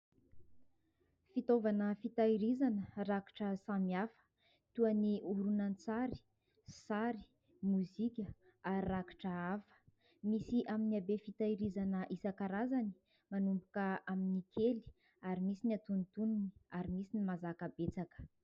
Fitaovana fitahirizana rakitra samy hafa : toa ny horonan-tsary, sary, mozika ary rakitra hafa, misy amin'ny habe fitahirizana isankarazany manomboka amin'ny kely ary misy ny antonontonony ary misy ny mazaka betsaka.